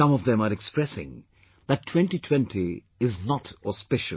Some of them are expressing that 2020 is not auspicious